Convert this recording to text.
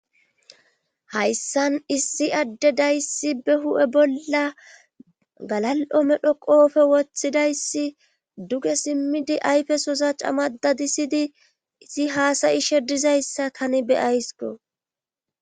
Hayssan issi adde dayssi be hu7e bolla galal7o medho qoofe wothidayssi duge simmidi ayfesosa camada disidi isi haasayishedizayssa tani be aysko